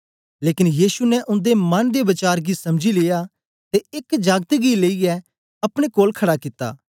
लेकन यीशु ने उन्दे मन दे वचार गी समझी लिया ते एक जागत गी लेईयै अपने कोल खड़ा कित्ता